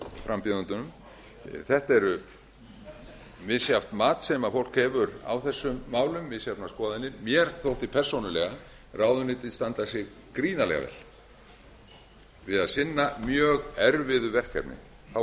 frambjóðendunum þetta er misjafnt mat sem fólk hefur á þessum málum misjafnar skoðanir mér þótti persónulega ráðuneytið standa sig gríðarlega vel við að sinna mjög erfiðu verkefni þá